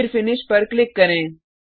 फिर फिनिश पर क्लिक करें